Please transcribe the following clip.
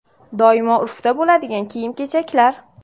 Doimo urfda bo‘ladigan kiyim-kechaklar.